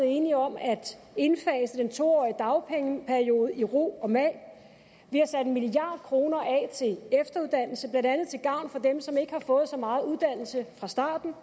enige om at indfase den to årige dagpengeperiode i ro og mag vi har sat en milliard kroner af til efteruddannelse blandt andet til gavn for dem som ikke har fået så meget uddannelse fra starten